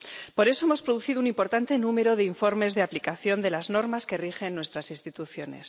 Por eso hemos producido un importante número de informes de aplicación de las normas que rigen nuestras instituciones.